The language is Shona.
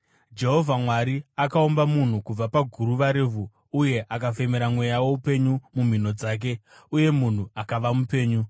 Jehovha Mwari akaumba munhu kubva paguruva revhu uye akafemera mweya woupenyu mumhino dzake, uye munhu akava mupenyu.